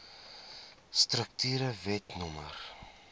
strukture wet no